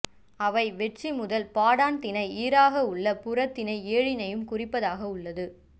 அவை வெட்சி முதல் பாடாண் திணை ஈறாகவுள்ள புறத்திணை ஏழினையும் குறிப்பதாக உள்ளது